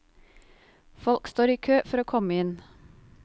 Folk står i kø for å komme inn.